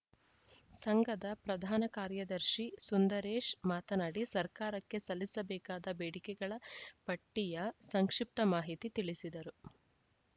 ಸಂಘದ ಪ್ರಧಾನ ಕಾರ್ಯದರ್ಶಿ ಸುಂದರೇಶ್‌ ಮಾತನಾಡಿ ಸರಕಾರಕ್ಕೆ ಸಲ್ಲಿಸಬೇಕಾದ ಬೇಡಿಕೆಗಳ ಪಟ್ಟಿಯ ಸಂಕ್ಷಿಪ್ತ ಮಾಹಿತಿ ತಿಳಿಸಿದರು